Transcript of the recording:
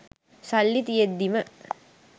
සල්ලි තියෙද්දිම